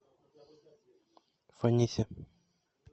фанисе